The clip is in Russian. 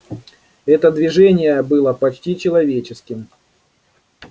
это движение было почти человеческим